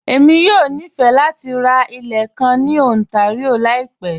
Èmi yọ̀ ní fẹ̀ lati rá ilẹ̀ kàn ní Ontario laípẹ̀